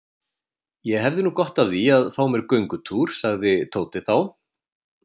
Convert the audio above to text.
Ég hefði nú gott af því að fá mér göngutúr sagði Tóti þá.